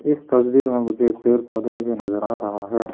इस तस्वीर में मुझे पेड़ पौधे भी नजर आ रहा है।